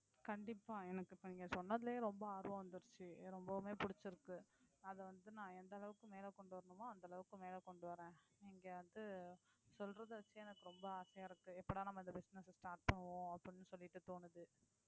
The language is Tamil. கண்டிப்பா எனக்கு இப்ப நீங்க சொன்னதிலயே ரொம்ப ஆர்வம் வந்துருச்சு ரொம்பவுமே பிடிச்சிருக்கு அத வந்து நா எந்த அளவுக்கு மேல கொண்டு வரணுமோ அந்த அளவுக்கு மேல கொண்டு வரேன் நீங்க வந்து சொல்றதே வச்சு எனக்கு ரொம்ப ஆசையா இருக்கு எப்படா நாம அந்த business அ start பண்ணுவோம் அப்படினு சொல்லிட்டு தோணுது